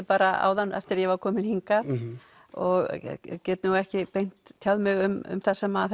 bara áðan eftir að ég var komin hingað og get ekki beint tjáð mig um þar sem